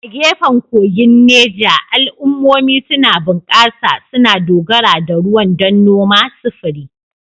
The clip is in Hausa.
A gefen kogin Neja, al'ummomi suna bunƙasa, suna dogara da ruwan don noma, sufuri.